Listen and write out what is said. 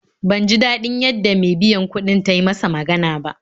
Ban ji daɗin yadda me biyan kuɗin ta yi masa magana ba